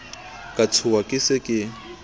ka tshoha ke se ke